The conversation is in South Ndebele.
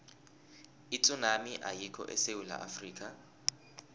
itsunami ayikho esewula afrika